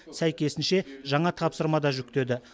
сәйкесінше жаңа тапсырма да жүктеді